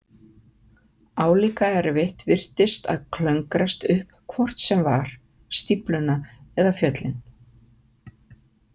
Álíka erfitt virtist að klöngrast upp hvort sem var, stífluna eða fjöllin.